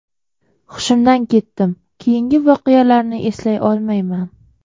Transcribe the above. Hushimdan ketdim, keyingi voqealarni eslay olmayman.